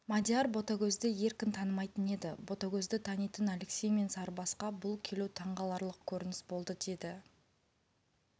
мадияр ботагөзді еркін танымайтын еді ботагөзді танитын алексей мен сарыбасқа бұл келу таңқаларлық көрініс болды деді